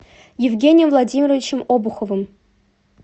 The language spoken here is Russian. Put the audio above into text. евгением владимировичем обуховым